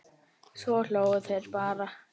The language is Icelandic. Svo hlógu þeir bara.